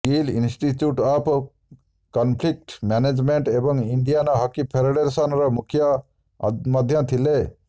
Gill institute of conflict management ଏବଂ Indian hockey ଫେଡେରେସନର ମୁଖ୍ୟ ମଧ୍ୟ ଥିଲେ